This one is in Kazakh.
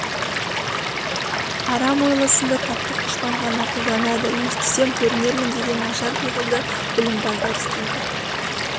арам ойлы сынды таптық дұшпан ғана қолданады өстісем көрінермін деген нашар пиғылды білімпаздар істейді